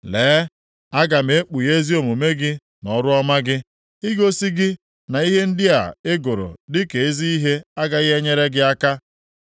Lee, aga m ekpughe ezi omume gị na ọrụ ọma gị, igosi gị na ihe ndị a ị gụrụ dị ka ezi ihe agaghị enyere gị aka.